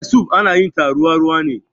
Ferfesu ana yin ta ruwa ruwa ne.